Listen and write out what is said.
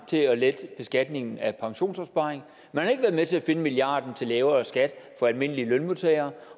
til at lette beskatningen af pensionsopsparingen man har ikke været med til at finde milliarden til lavere skat for almindelige lønmodtagere